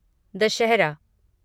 Dussehra